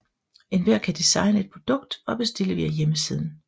Enhver kan designe et produkt og bestille via hjemmesiden